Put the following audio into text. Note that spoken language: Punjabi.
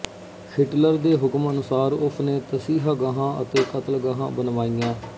ਹਿਟਲਰ ਦੇ ਹੁਕਮ ਅਨੁਸਾਰ ਉਸਨੇ ਤਸੀਹਾਗਾਹਾਂ ਅਤੇ ਕ਼ਤਲਗਾਹਾਂ ਬਣਵਾਈਆਂ